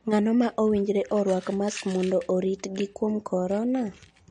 Ng'ano ma owinjore orwak mask mondo oritgi kuom corona?